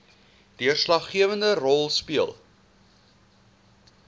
deurslaggewende rol speel